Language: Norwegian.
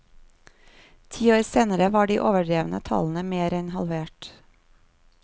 Ti år senere var de overdrevne tallene mer enn halvert.